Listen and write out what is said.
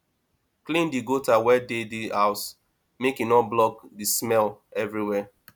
clean di gutter wey dey di house make e no block di smell everybody